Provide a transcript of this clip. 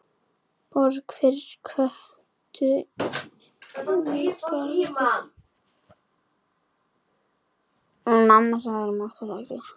Borg fyrir Kötu inní garði.